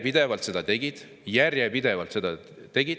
" Nad tegid seda järjepidevalt – järjepidevalt!